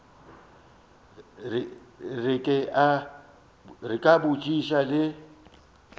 re ke a botšiša le